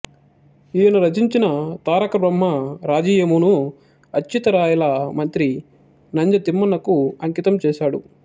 ఈయన రచించిన తారకబ్రహ్మరాజీయమును అచ్యుతరాయల మంత్రి నంజ తిమ్మనకు అంకితం చేశాడు